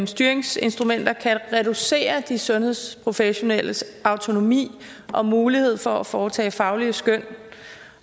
styringsinstrumenter kan reducere de sundhedsprofessionelles autonomi og mulighed for at foretage faglige skøn